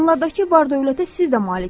Onlardakı var-dövlətə siz də maliksiz.